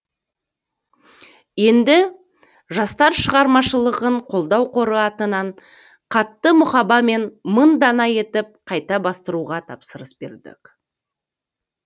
енді жастар шығармашылығын қолдау қоры атынан қатты мұхабамен мың дана етіп қайта бастыруға тапсырыс бердік